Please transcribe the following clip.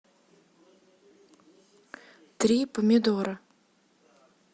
три помидора